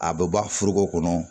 A bɛ bɔ foroko kɔnɔ